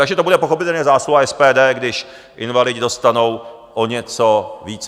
Takže to bude pochopitelně zásluha SPD, když invalidé dostanou o něco více.